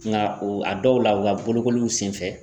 Nka o a dɔw la u ka bolokoliw senfɛ